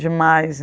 Demais.